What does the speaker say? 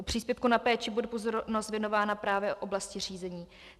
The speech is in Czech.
U příspěvku na péči bude pozornost věnována právě oblasti řízení.